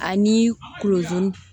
Ani kolon dun